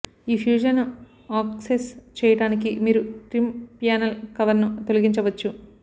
ఈ ఫ్యూజ్లను ఆక్సెస్ చెయ్యడానికి మీరు ట్రిమ్ ప్యానల్ కవర్ ను తొలగించవచ్చు